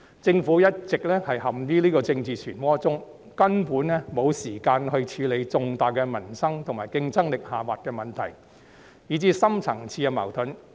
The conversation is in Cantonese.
政府一直陷於這個政治漩渦中，根本沒有時間處理重大民生及競爭力下滑的問題，以至深層次矛盾。